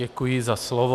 Děkuji za slovo.